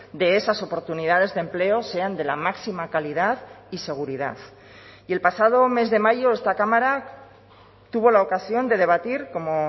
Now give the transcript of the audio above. de esas oportunidades de empleo sean de la máxima calidad y seguridad y el pasado mes de mayo esta cámara tuvo la ocasión de debatir como